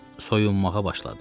Soyunmağa başladı.